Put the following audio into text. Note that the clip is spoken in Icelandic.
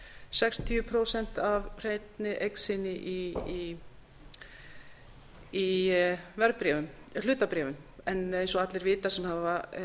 sextíu prósent af hreinni eign sinni í hlutabréfum en eins og allir vita sem hafa